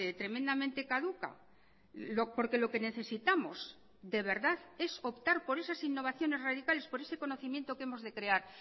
tremendamente caduca porque lo que necesitamos de verdad es optar por esas innovaciones radicales por ese conocimiento que hemos de crear